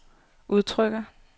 udtrykker